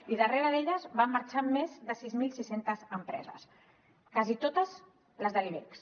i darrere d’elles van marxar més de sis mil sis cents empreses quasi totes les de l’ibex